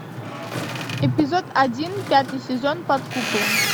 эпизод один пятый сезон под куполом